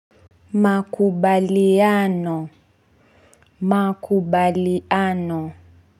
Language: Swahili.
Makubaliano, makubaliano.